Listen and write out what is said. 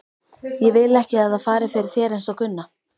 Ég vil ekki að það fari fyrir þér einsog Gunna.